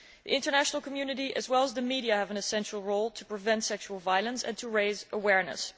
The international community, as well as the media, have an essential role to prevent sexual violence and to raise awareness.